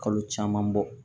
Kalo caman bɔ